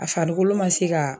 A farikolo ma se ka